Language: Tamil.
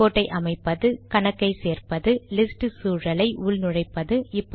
ரிபோர்ட்டை அமைப்பது கணக்கை சேர்ப்பது லிஸ்ட் சூழலை உள் நுழைப்பது